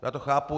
Já to chápu.